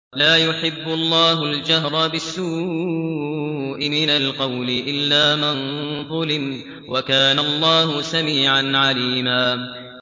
۞ لَّا يُحِبُّ اللَّهُ الْجَهْرَ بِالسُّوءِ مِنَ الْقَوْلِ إِلَّا مَن ظُلِمَ ۚ وَكَانَ اللَّهُ سَمِيعًا عَلِيمًا